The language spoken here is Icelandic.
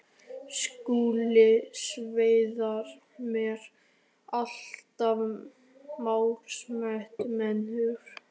Skulu sveinar mínir, allt málsmetandi menn úr